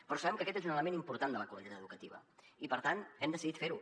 però sabem que aquest és un element important de la qualitat educativa i per tant hem decidit fer ho